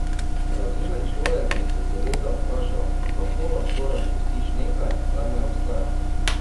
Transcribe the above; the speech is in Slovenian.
Razumen človek bi se seveda vprašal, kako lahko razpustiš nekaj, kar ne obstaja.